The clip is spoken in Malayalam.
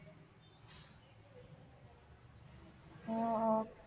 ആ ആ